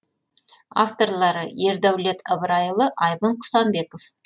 авторлары ердәулет ыбырайұлы айбын құсанбеков